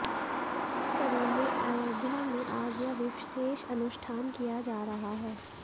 इसी कड़ी में अयोध्या में आज यह विशेष अनुष्ठान किया जा रहा है